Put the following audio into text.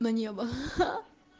на небо ха-ха